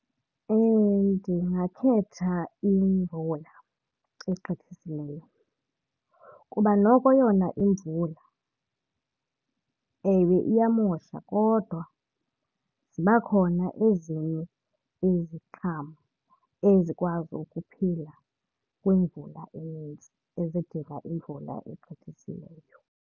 Ndingakhetha imvula egqithisileyo kuba noko yona imvula, ewe iyamosha, kodwa ziba khona ezinye iziqhamo ezikwazi ukuphila kwimvula enintsi ezidinga imvula egqithisileyo.